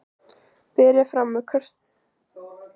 Berið fram með kartöflum, grænmetissalati og nýbökuðu brauði.